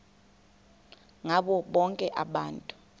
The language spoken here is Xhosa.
ngabo bonke abantu